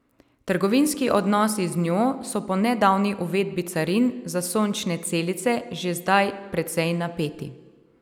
Trgovinski odnosi z njo so po nedavni uvedbi carin za sončne celice že zdaj precej napeti.